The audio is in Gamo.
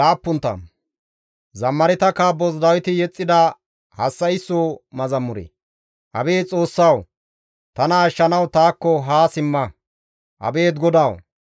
Abeet Xoossawu! Tana ashshanawu taakko haa simma; abeet GODAWU! Tana maaddanawu eesota.